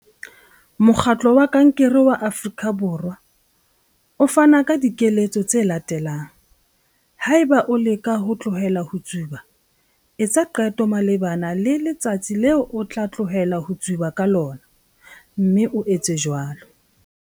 Mokgatlo wa Kankere wa Afrika Borwa, CANSA, o fana ka dikeletso tse latelang haeba o leka ho tlohela ho tsuba- Etsa qeto malebana le letsatsi leo o tla tlohela ho tsuba ka lona, mme o etse jwalo.